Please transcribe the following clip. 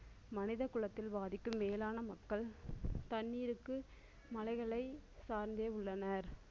மனித குலத்தின் பாதிக்கும் மேலான மக்கள் தண்ணீருக்கு மலைகளை சார்ந்தே உள்ளனர்.